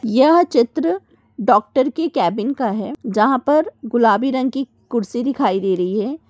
यहा चित्र डॉक्टर के कैबिन का है जहा पर गुलाबी रंग की कुर्सी दिखाई दे रही है।